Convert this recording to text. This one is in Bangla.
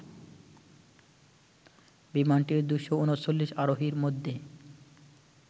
বিমানটির ২৩৯ আরোহীর মধ্যে